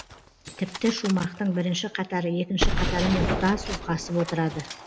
тіпті шумақтың бірінші қатары екінші қатарымен тұтас ұйқасып отырады